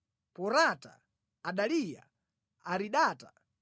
Porata, Adaliya, Aridata,